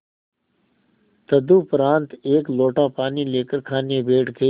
तदुपरांत एक लोटा पानी लेकर खाने बैठ गई